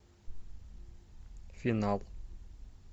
финал